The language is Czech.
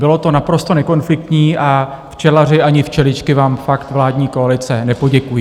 Bylo to naprosto nekonfliktní a včelaři ani včeličky vám fakt, vládní koalice, nepoděkují.